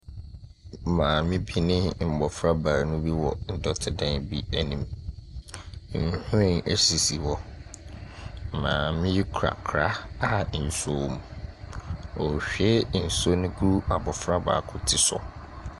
Papa bi ne mmofra bi ahyia wɔ pono bi ho. Na papa no gyina hɔ a wahyɛ spɛɛs. Na ɔpon no so no tablɛt a ɛho yɛ fitaa deda ɔpon no so. Na mmofra no ahyehyɛ ntaadeɛ a n'ahosuo yɛ fitaa.